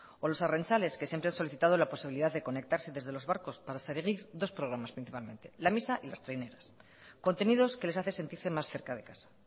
o los arrantzales que siempre han solicitado la posibilidad de conectarse desde los barcos para seguir dos programas principalmente la misa y las traineras contenidos que les hace sentirse más cerca de casa